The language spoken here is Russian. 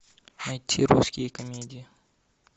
найти русские комедии